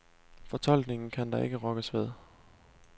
Fortolkningen kan der ikke rokkes ved.